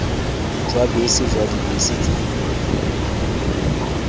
jwa bese jwa dibese tse